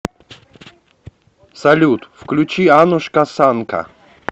салют включи анушка санка